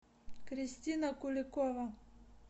кристина куликова